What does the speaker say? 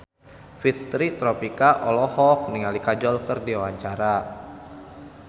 Fitri Tropika olohok ningali Kajol keur diwawancara